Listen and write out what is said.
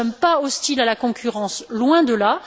Nous ne sommes pas hostiles à la concurrence, loin de là.